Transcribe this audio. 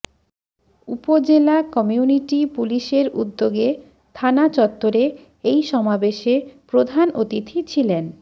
উপজেলা কমিউনিটি পুলিশের উদ্যোগে থানা চত্বরে এই সমাবেশে প্রধান অতিথি ছিলেন